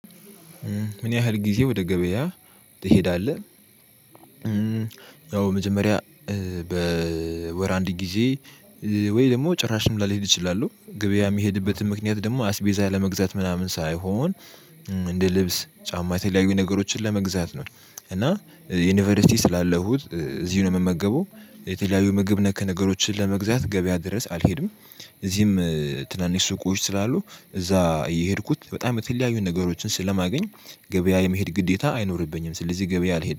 ምን ያህል ጊዜ ወደ ገበያ ትሄዳለህ? ያው መጀመርያ በወር አንድ ጊዜ ወይ ደግሞ ጭራሽም ላልሄድ እችላለሁ። ገበያ የሚሄድበትን ምክንያት ደግሞ አስቤዛ ለመግዛት ምናምን ሳይሆን እንደ ልብስ ጫማ የተለያዩ ነገሮችን ለመግዛት ነው። እና ዩኒቨርሲቲ ስላለሁት እዚህ ነው የምመገበው። የተለያዩ ምግብ ነክ ነገሮችን ለመግዛት ገበያ ድረስ አልሄድም። እዚህም ትናንሽ ሱቆች ስላሉ እዛ የሄድኩት በጣም የተለያዩ ነገሮችን ስለማገኝ ገበያ የመሄድ ግዴታ አይኖርብኝም። ስለዚህ ገበያ አልሄድም